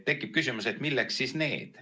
Tekib küsimus, et milleks siis need.